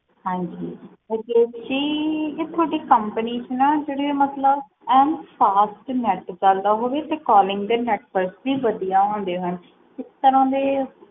ਹਾਂਜੀ ਰਾਕੇਸ਼ ਜੀ ਤੁਹਾਡੀ company ਚ ਐਂ ਸਾਫ ਨੈੱਟ ਚਲਦਾ ਹੋਵੇ ਤੇ calling ਦੇ network ਵੀ ਵਧੀਆ ਹੁੰਦੇ ਹੋਣ ਇਸ ਤਰ੍ਹਾਂ ਦੇ